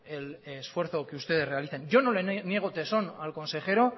el esfuerzo que ustedes realizan yo no les niego tesón al consejero